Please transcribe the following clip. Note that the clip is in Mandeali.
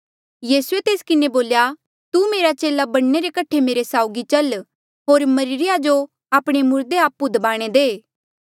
यीसूए तेस किन्हें बोल्या तू मेरे चेला बणने रे कठे मेरे साउगी चल होर मरिरे या जो आपणे मुर्दे आपु दबाणे दे